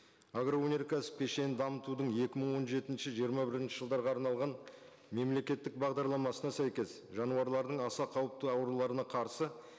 агроөнеркәсіп кешенін дамытудың екі мың он жетінші жиырма бірінші жылдарға арналған мемлекеттік бағдарламасына сәйкес жануарлардың аса қауіпті ауруларына қарсы